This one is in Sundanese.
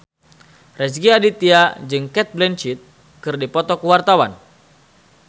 Rezky Aditya jeung Cate Blanchett keur dipoto ku wartawan